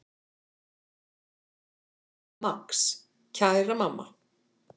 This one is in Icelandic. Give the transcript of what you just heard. Max: Kæra mamma.